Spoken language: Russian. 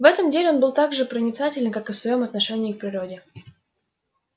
в этом деле он был так же проницателен как и в своём отношении к природе